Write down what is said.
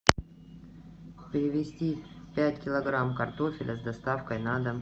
привезти пять килограмм картофеля с доставкой на дом